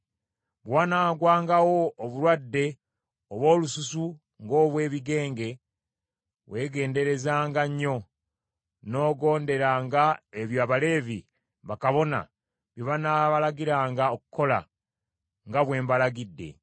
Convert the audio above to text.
Bwe wanaagwangawo obulwadde obw’olususu ng’obw’ebigenge, weegenderezanga nnyo, n’ogonderanga ebyo Abaleevi, bakabona, bye banaabalagiranga okukola, nga bwe mbalagidde.